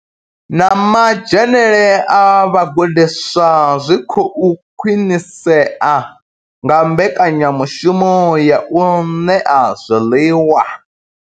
Na madzhenele a vhagudiswa zwi khou khwinisea nga mbekanyamushumo ya u ṋea zwiḽiwa.